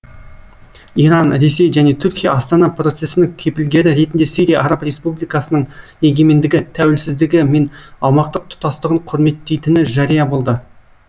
иран ресей және түркия астана процесінің кепілгері ретінде сирия араб республикасының егемендігі тәуелсіздігі мен аумақтық тұтастығын құрметтейтіні жария болды